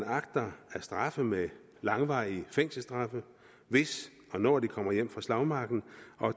agter at straffe med langvarige fængselsstraffe hvis og når de kommer hjem fra slagmarken